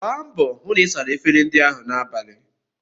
Gba mbọ hụ na ị sara efere ndị ahụ n'abalị!